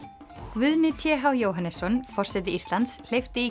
Guðni t h Jóhannesson forseti Íslands hleypti